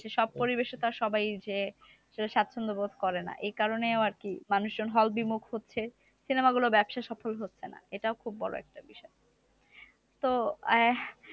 সব পরিবেশে তো আর সবাই যেয়ে সাচ্ছন্দ বোধ করে না। এই কারণেও আর কি মানুষজন hall বিমুখ হচ্ছে। cinema গুলোর ব্যবসা সফল হচ্ছে না। এটাও খুব বড় একটা বিষয়। তো আহ